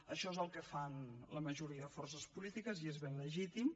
això és el que fan la majoria de forces polítiques i és ben legítim